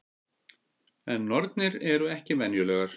En nornir eru ekki venjulegar.